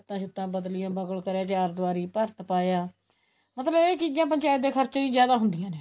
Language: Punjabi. ਤਾਹੀਂ ਤਾਂ ਬਦਲੀਆਂ ਬਗਲ ਕਰਿਆ ਚਾਰ ਦਵਾਰੀ ਭਰਤ ਪਾਇਆ ਮਤਲਬ ਇਹ ਚੀਜ਼ਾਂ ਪੰਚਾਇਤ ਦੇ ਖਰਚੇ ਚ ਜਿਆਦਾ ਹੁੰਦੀਆਂ ਨੇ